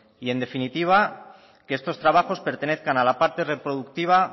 y en definitiva que estos trabajos pertenezcan a la parte reproductiva